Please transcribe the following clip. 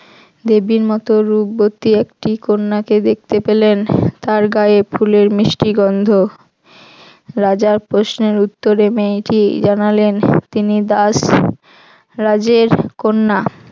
দেবীর মত রূপবতী এক স্ত্রী কন্যাকে দেখতে পেলেন তার গায়ে ফুলের মিষ্টি গন্ধ রাজার প্রশ্নের উত্তরে তিনি জানালেন তিনি দাসরাজের কন্যা